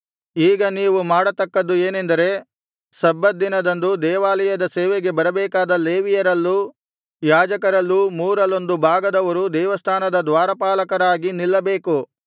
ಈಗ ನೀವು ಮಾಡತಕ್ಕದ್ದು ಏನೆಂದರೆ ಸಬ್ಬತ್ ದಿನದಂದು ದೇವಾಲಯದ ಸೇವೆಗೆ ಬರಬೇಕಾದ ಲೇವಿಯರಲ್ಲೂ ಯಾಜಕರಲ್ಲೂ ಮೂರರಲ್ಲೊಂದು ಭಾಗದವರು ದೇವಸ್ಥಾನದ ದ್ವಾರಪಾಲಕರಾಗಿ ನಿಲ್ಲಬೇಕು